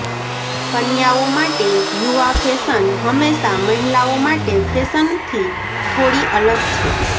કન્યાઓ માટે યુવા ફેશન હંમેશાં મહિલાઓ માટે ફેશનથી થોડી અલગ છે